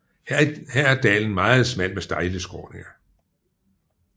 Her er dalen meget smal med stejle skråninger